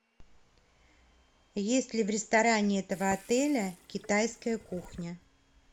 есть ли в ресторане этого отеля китайская кухня